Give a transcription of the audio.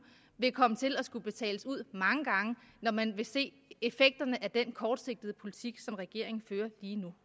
vil komme til at skulle betales ud mange gange når man vil se effekterne af den kortsigtede politik som regeringen fører lige nu